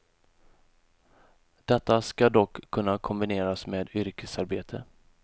Detta ska dock kunna kombineras med yrkesarbete.